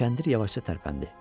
Kəndir yavaşca tərpəndi.